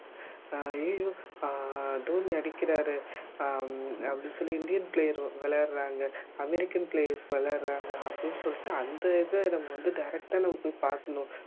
அஹ் அய்யய்யோ அஹ் தோனி அடிக்கிறார் ஹம் அப்படின்னு சொல்லி இந்தியன் player விளையாடுறாங்க அமெரிக்கன் players விளையாடுறாங்க அப்படின்னு சொல்லிட்டு அந்த இத நம்ம வந்து direct ஆ நம்ம போய் பாக்கணும்